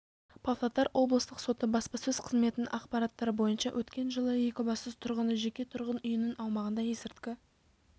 павлодар облыстық соты баспасөз қызметінің ақпараттары бойынша өткен жылы екібастұз тұрғыны жеке тұрғын үйінің аумағында есірткі